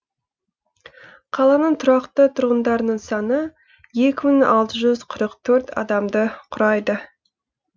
қаланың тұрақты тұрғындарының саны екі мың алты жүз адамды құрайды